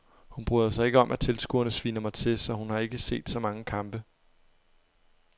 Hun bryder sig ikke om at tilskuerne sviner mig til, så hun har ikke set så mange kampe.